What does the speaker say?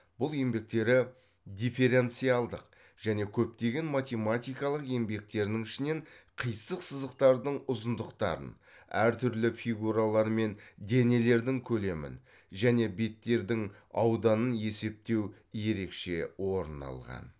бұл еңбектері дифференциалдық және көптеген математикалық еңбектерінің ішінен қисық сызықтардың ұзындықтарын әр түрлі фигуралар мен денелердің көлемін және беттердің ауданын есептеу ерекше орын алған